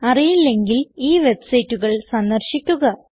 അറിയില്ലെങ്കിൽ ഈ വെബ്സൈറ്റുകൾ സന്ദർശിക്കുക